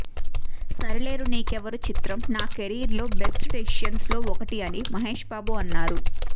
సరిలేరు నీకెవ్వరు చిత్రం నా కెరీర్ లో బెస్ట్ డెసిషన్స్ లో ఒకటి అని మహేష్ బాబు అన్నారు